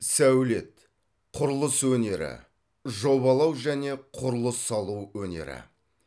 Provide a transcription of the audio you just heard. сәулет құрылыс өнері жобалау және құрылыс салу өнері